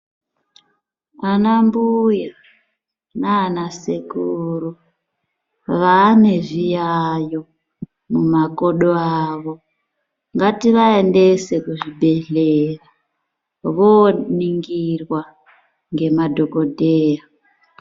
Anambuya nanasekuru vane zviyayo mumakodo avo. Ngativaendese kuzvibhedhlera voningirwa ngemadhokodheya.